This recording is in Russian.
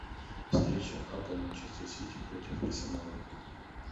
встреча апл манчестер сити против арсенала